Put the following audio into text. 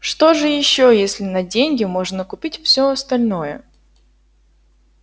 что же ещё если на деньги можно купить всё остальное